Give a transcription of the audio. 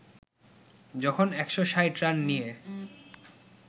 যখন ১৬০ রান নিয়ে